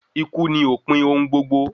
Ikú ni òpin ohun gbogbo